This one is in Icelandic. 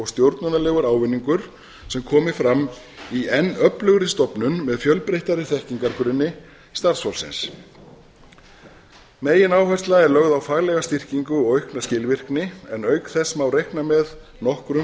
stjórnunarlegur ávinningur sem komi fram í enn öflugri stofnun m eð fjölbreyttari þekkingargrunni starfsfólksins megináhersla er lögð á faglega styrkingu og aukna skilvirkni en auk þess má reikna með nokkrum